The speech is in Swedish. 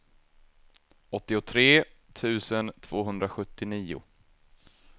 åttiotre tusen tvåhundrasjuttionio